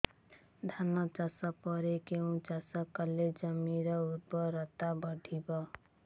ଧାନ ଚାଷ ପରେ କେଉଁ ଚାଷ କଲେ ଜମିର ଉର୍ବରତା ବଢିବ